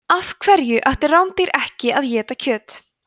af hverju ættu rándýr ekki að éta kjöt